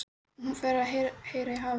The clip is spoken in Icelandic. Og hún fer að heyra í hafinu.